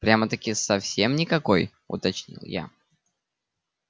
прямо-таки совсем никакой уточнил я